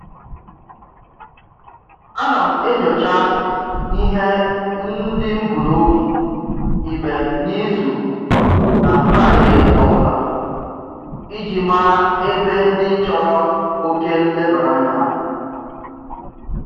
Ana m enyocha ihe ndị m bunobi ime n'izu na Fraịde ọbụla iji mara ebe ndị chọrọ oke nlebaranya